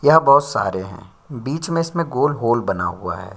यहां बहुत सारे हैं बीच में इसमें गोल-गोल बना हुआ है।